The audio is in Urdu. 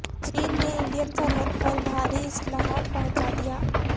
چین نے انڈین سرحد پر بھاری اسلحہ پہنچا دیا